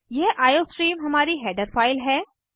यह आईओस्ट्रीम हमारी header file है